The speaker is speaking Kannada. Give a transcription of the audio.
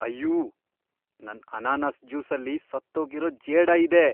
ಅಯ್ಯೂ! ನನ್ ಅನಾನಸ್ ಜ್ಯೂಸಲ್ಲಿ ಸತ್ತೋಗಿರೋ ಜೇಡ ಇದೆ.